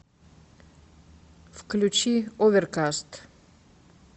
включи оверкаст